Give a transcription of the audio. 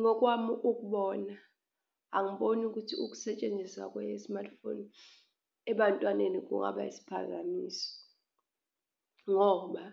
Ngokwami ukubona angiboni ukuthi ukusetshenziswa kwe-smartphone ebantwaneni kungaba isiphazamiso ngoba